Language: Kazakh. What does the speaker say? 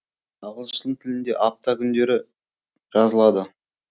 ағылшын тілінде апта күндері жазылады